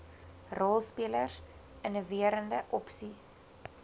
rolspelers inniverende opsies